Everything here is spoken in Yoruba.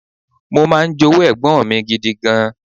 Mo máa ń jowú ẹ̀gbọ́n mi gidi gan.